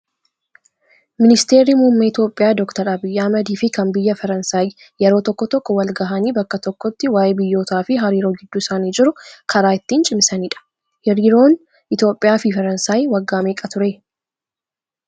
Ministeerri muummee Itoophiyaa doktar Abiyyi Ahmad fi kan biyya Faransaay yeroo tokko tokko wal gahanii bakka tokkotti waayee biyyootaa fi hariiroo gidduu isaanii jiru karaa ittiin cimsanidha. Hariiroon Itoophiyaa fi Faransaay waggaa meeqa turee?